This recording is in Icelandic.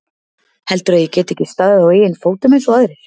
Heldurðu að ég geti ekki staðið á eigin fótum eins og aðrir?